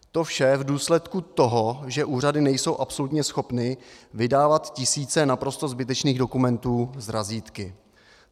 To vše v důsledku toho, že úřady nejsou absolutně schopné vydávat tisíce naprosto zbytečných dokumentů s razítky.